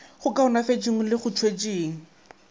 go kaonafatšeng le go tšwetšeng